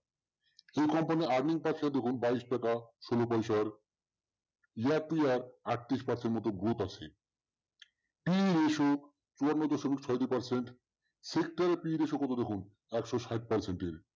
এই company র earning টা দেখুন বাইশ টাকা ষোলো পয়সার year to year আটত্রিশ percent মতো growth আছে percent, sector period দেখুন একশো সাত percent এর